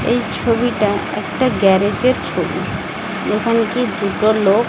এই ছবিটা একটা গ্যারেজ -এর ছবি দোকানটি দুটো লোক--